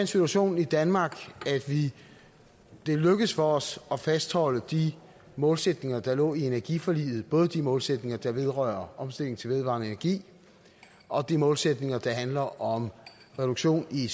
situation i danmark at det er lykkedes for os at fastholde de målsætninger der lå i energiforliget både de målsætninger der vedrører omstilling til vedvarende energi og de målsætninger der handler om reduktion i